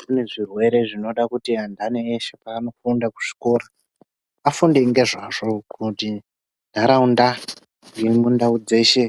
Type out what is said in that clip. Kune zvirwere zvinoda kuti anthani eshe paanofunda kuzvikora, afunde ngezvazvo. Kuti ntharaunda nemundau dzeshe,